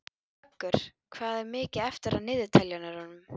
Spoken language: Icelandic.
Vöggur, hvað er mikið eftir af niðurteljaranum?